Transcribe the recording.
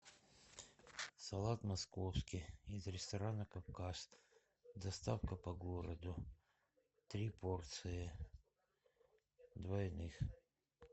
салат московский из ресторана кавказ доставка по городу три порции двойных